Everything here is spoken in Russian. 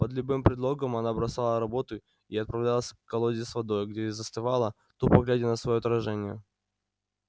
под любым предлогом она бросала работу и отправлялась к колоде с водой где и застывала тупо глядя на своё отражение